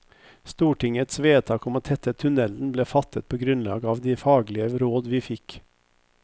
Stortingets vedtak om å tette tunnelen ble fattet på grunnlag av de faglige råd vi fikk.